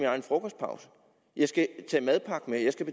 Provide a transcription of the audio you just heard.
egen frokostpause jeg skal